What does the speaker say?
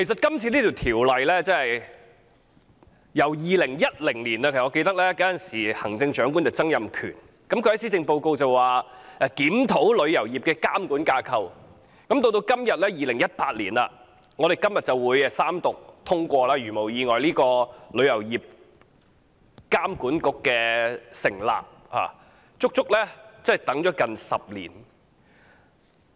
關於《旅遊業條例草案》，從2010年時任行政長官曾蔭權在施政報告中宣布檢討旅遊業的監管架構，到2018年的今天三讀通過《條例草案》以成立旅遊業監管局，我們足足等了接近10年。